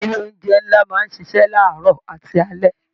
Ilé oúnjẹ nlá máa n ṣiṣẹ laarọ àti alẹ́.